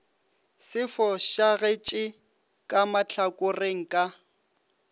se fošagetše ka mahlakoreng ka